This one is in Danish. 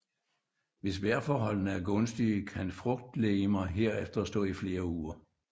Hvis vejrforholdene er gunstige kan frugtlegemer herefter stå i flere uger